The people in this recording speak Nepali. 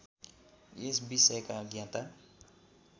यस विषयका ज्ञाता